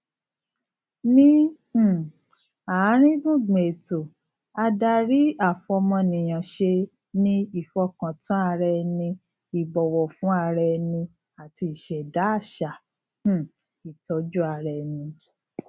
ni um aarin gbungbun eto adariafomoniyanse ni ifokantanaraeni ibowofunraeni ati iseda asa um itojuaraeni